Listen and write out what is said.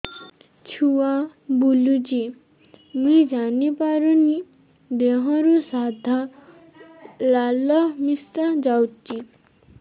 ଛୁଆ ବୁଲୁଚି ମୁଇ ଜାଣିପାରୁନି ଦେହରୁ ସାଧା ଲାଳ ମିଶା ଯାଉଚି